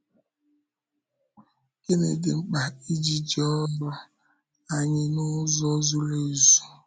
Gịnị dị mkpa iji jee ọ́rụ anyị n’ụzọ zuru ezu?